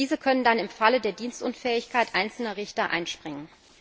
Diese können dann im Falle der Dienstunfähigkeit einzelner Richter einspringen.